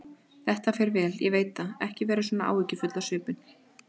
Þetta fer vel, ég veit það, ekki vera svona áhyggjufull á svipinn.